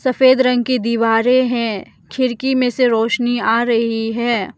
सफेद रंग की दीवारें है खिड़की में से रोशनी आ रही है।